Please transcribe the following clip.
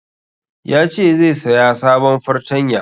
Yace zai saya sabon fartanya